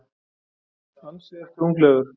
Ansi ertu unglegur.